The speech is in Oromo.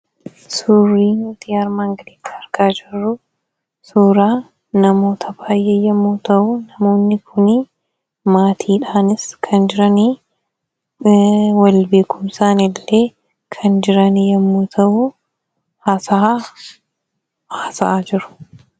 Suurri nuti armaan gaditti argaa jirru suuraa namoota baay'ee yommuu ta'u, namoonni kun maatiidhaanis kan jiran wal beekuu isaaniitti haasaa haasa'aa jiru.